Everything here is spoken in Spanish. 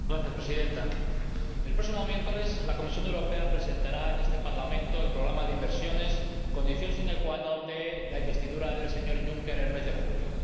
Señora Presidenta, el próximo miércoles la Comisión Europea presentará en este Parlamento el programa de inversiones, condición de la investidura del señor Juncker el mes de julio.